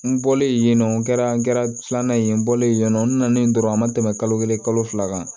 N bɔlen yen nɔ n kɛra n kɛra filanan ye n bɔlen yen nɔ n nana yen dɔrɔn a ma tɛmɛ kalo kelen kalo fila kan